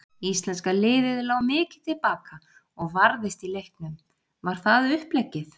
Íslenska liðið lá mikið til baka og varðist í leiknum, var það uppleggið?